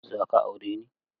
Za ka aure ni?